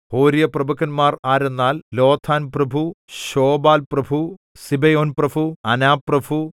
ഹോര്യപ്രഭുക്കന്മാർ ആരെന്നാൽ ലോതാൻപ്രഭു ശോബാൽപ്രഭു സിബെയോൻപ്രഭു അനാപ്രഭു